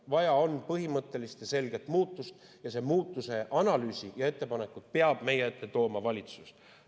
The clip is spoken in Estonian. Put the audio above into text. Vaja on põhimõttelist ja selget muutust ning selle muutuse analüüsi ja ettepanekud peab meie ette tooma valitsus.